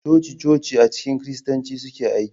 Coci-coci a cikin Kiristanci suna aiki.